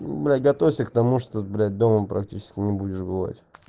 блять готовься к тому что блять дома практически не будешь бывать